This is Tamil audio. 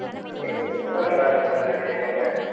உங்களுக்கு இல்லையா sirUAnumber